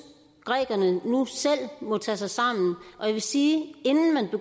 grækerne nu selv må tage sig sammen og jeg vil sige